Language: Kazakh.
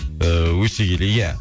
ііі өсе келе иә